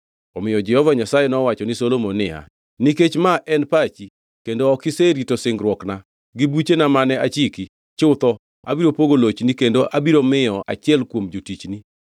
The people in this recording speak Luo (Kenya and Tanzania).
Omiyo Jehova Nyasaye nowacho ni Solomon niya, “Nikech ma en pachi kendo ok iserito singruokna gi buchena mane achiki, chutho abiro pogo lochni kendo abiro miyo achiel kuom jotichni.